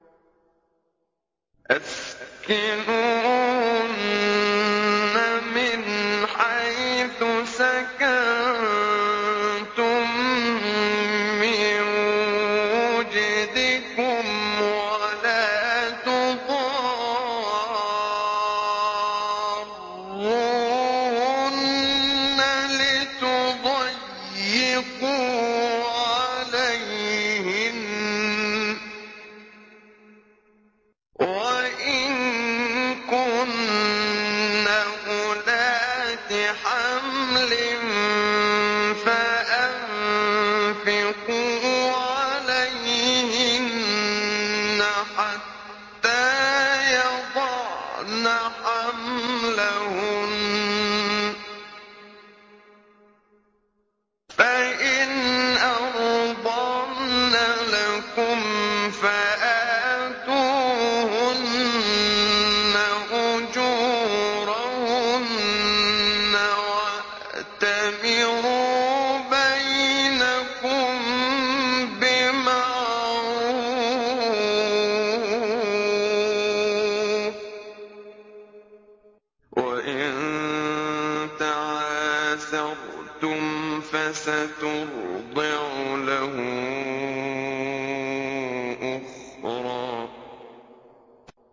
أَسْكِنُوهُنَّ مِنْ حَيْثُ سَكَنتُم مِّن وُجْدِكُمْ وَلَا تُضَارُّوهُنَّ لِتُضَيِّقُوا عَلَيْهِنَّ ۚ وَإِن كُنَّ أُولَاتِ حَمْلٍ فَأَنفِقُوا عَلَيْهِنَّ حَتَّىٰ يَضَعْنَ حَمْلَهُنَّ ۚ فَإِنْ أَرْضَعْنَ لَكُمْ فَآتُوهُنَّ أُجُورَهُنَّ ۖ وَأْتَمِرُوا بَيْنَكُم بِمَعْرُوفٍ ۖ وَإِن تَعَاسَرْتُمْ فَسَتُرْضِعُ لَهُ أُخْرَىٰ